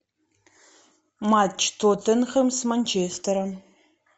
матч тоттенхэм с манчестером